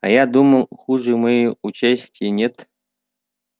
а я думал хуже моей участи нет